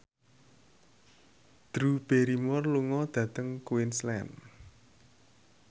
Drew Barrymore lunga dhateng Queensland